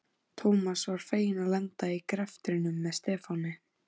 Thomas var feginn að lenda í greftrinum með Stefáni.